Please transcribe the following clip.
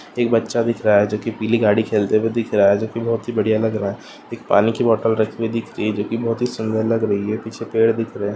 एक बच्चा दिख रहा है जो कि पीली गाड़ी खेलते हुए दिख रहा है जो कि बहुत ही बढ़िया लग रहा है एक पानी की बॉटल रखी हुई दिख रही है जो कि बहुत ही सुंदर लग रही है पीछे पेड़ दिख रहे है।